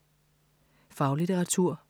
Faglitteratur